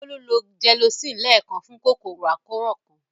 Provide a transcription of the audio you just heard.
Bólú lo Gelocin lẹ́ẹ̀kan fún kòkòrò àkóràn kan.